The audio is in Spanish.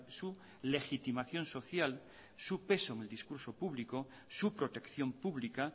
su legitimación social su peso un discurso público su protección pública